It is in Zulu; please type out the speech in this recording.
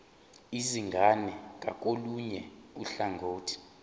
izingane ngakolunye uhlangothi